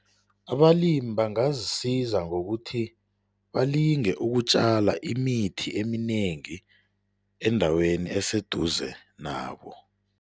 Abalimi bangazisiza ngokuthi balinge ukutjala imithi eminengi endaweni eseduze nabo.